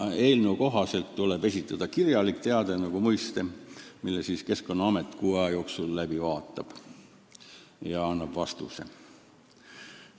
Eelnõu kohaselt tuleb nagu muiste esitada kirjalik teade, mille Keskkonnaamet kuu aja jooksul läbi vaatab ja annab vastuse.